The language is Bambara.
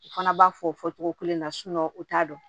U fana b'a fɔ o fɔ fɔcogo kelen na u t'a dɔn